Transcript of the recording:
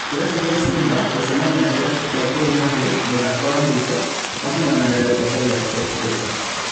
Kĩrabu gĩa Simba gũcemania na Kĩrabu gĩa gor mahia mũthako wa mũico wa kung'ang'anĩra gĩkombe gĩa Sportpesa